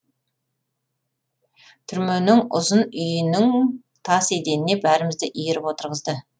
түрменің ұзын үйінің тас еденіне бәрімізді иіріп отырғызды